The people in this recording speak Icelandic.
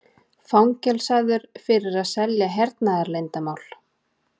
Fangelsaður fyrir að selja hernaðarleyndarmál